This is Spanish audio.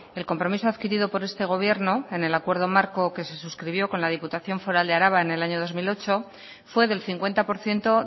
el compromiso adquirido por este gobierno en el acuerdo marco que se suscribió con la diputación foral de araba en el año dos mil ocho fue del cincuenta por ciento